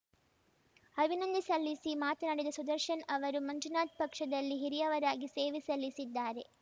ಅಭಿನಂದನೆ ಸಲ್ಲಿಸಿ ಮಾತನಾಡಿದ ಸುದರ್ಶನ್‌ ಅವರು ಮಂಜುನಾಥ್‌ ಪಕ್ಷದಲ್ಲಿ ಹಿರಿಯವರಾಗಿ ಸೇವೆ ಸಲ್ಲಿಸಿದ್ದಾರೆ